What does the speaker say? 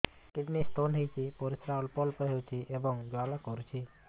kidney stone ହୋଇଛି ପରିସ୍ରା ଅଳ୍ପ ଅଳ୍ପ ହେଉଛି ଏବଂ ଜ୍ୱାଳା କରୁଛି